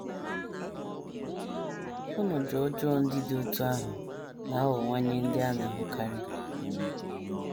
Ọnọdụ ọjọọ ndị dị otú ahụ na - aghọwanye ndị a na - ahụkarị.